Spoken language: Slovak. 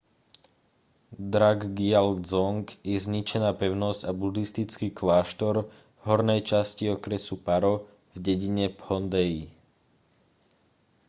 drukgyal dzong je zničená pevnosť a budhistický kláštor v hornej časti okresu paro v dedine phondey